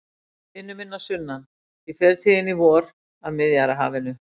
Vinur minn að sunnan, ég fer til þín í vor, að Miðjarðarhafinu.